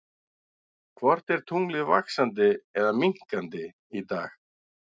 Hvort er tunglið vaxandi eða minnkandi í dag?